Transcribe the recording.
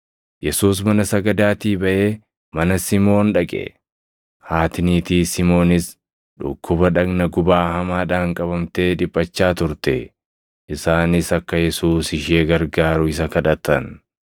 Yesuus mana sagadaatii baʼee mana Simoon dhaqe. Haati niitii Simoonis dhukkuba dhagna gubaa hamaadhaan qabamtee dhiphachaa turte; isaanis akka Yesuus ishee gargaaru isa kadhatan.